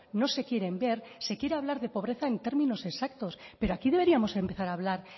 no se quieren ver se quiere hablar de pobreza en términos exactos pero aquí deberíamos empezar a hablar